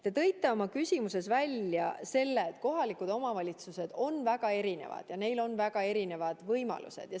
Te tõite oma küsimuses välja selle, et kohalikud omavalitsused on väga erinevad ja neil on väga erinevad võimalused.